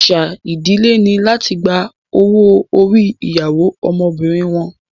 Àṣà ìdílé ni láti gba owó orí ìyàwó ọmọbìnrin wọn